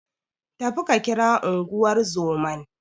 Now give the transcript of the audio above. Tafi ka kira Unguwar zoman.